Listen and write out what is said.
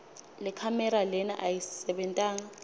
lekhamera lena ayisebentanga